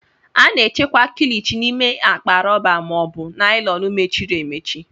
A na-echekwa Kilichi n'ime akpa rọba ma ọ bụ naịlọn mechiri emechi